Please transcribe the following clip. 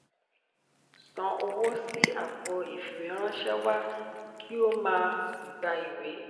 san owó sí àpò ìfìwéránṣẹ́ wa kí o máa gba ìwé.